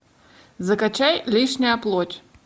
закачай лишняя плоть